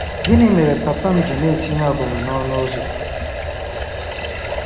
Gịnị mere papa m ji na-etinye ọbara n'ọnụ ụzọ? '